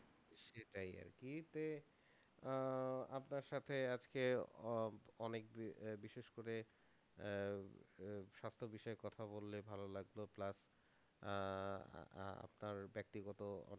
সেটাই আর কি যে আহ আপনার সাথে আজকে অ~ অনেকদিন আহ বিশেষ করে আহ সার্থক বিষয়ে কথা বললে ভালো লাগলো plus আহ তা~ তার ব্যক্তিগত